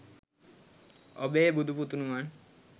ඔබේ බුදු පුතුණුවන්